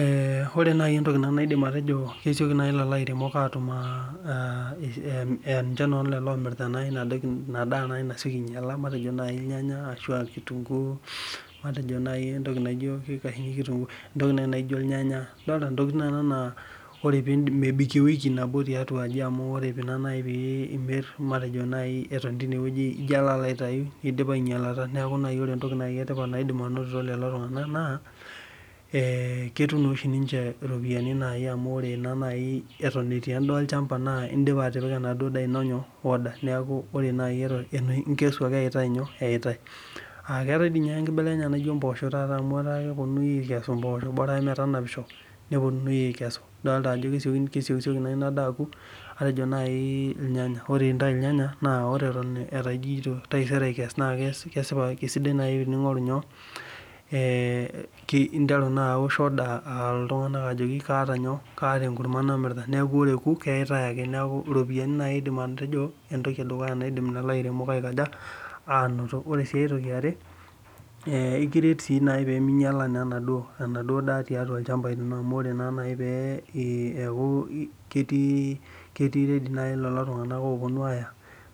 Ee ore nai entoki naidim atejo kesieki nai lairemok atum tenemir enadaa nasieki ainyala nijo irnyanya, kitunguu matejo irnyanya ntokitin nona na mebik ewiki tiatua aji amu ore nai pimir etom tinewueji na idipa ainyalata neaku ore entoki emaana natum lolo tunganak naa ketum atan etii endaa olchamba indipa atipika order ino neaku inkesu ake eyaitae akeetae si amu atan keponui akesu mpoosho idolita ajo kesiokisioki inadaa aoku atejo nai irnyanya ore eta ijo taisere akes na kesidai nai eninteru aosh order ajo kaata endaa naje metaa ore eoku naa keyaitae ake neaku ropiyani nai aidim atejo entoki naidim lairemok ainoto eaku kerii ready nai loli tunganak oponu aya